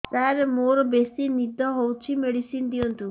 ସାର ମୋରୋ ବେସି ନିଦ ହଉଚି ମେଡିସିନ ଦିଅନ୍ତୁ